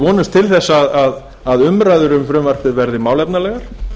vonumst til þess að umræður um frumvarpið verði málefnalegar